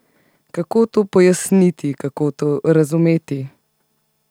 Kako to pojasniti, kako to razumeti?